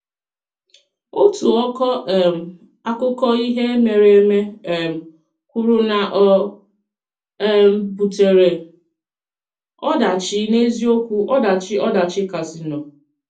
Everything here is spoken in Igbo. Òtù ọkọ um akụkọ ihe mere eme um kwùrù na ọ um butere “ọdachi, n’eziokwu ọdachi ọdachi kasịnụ.”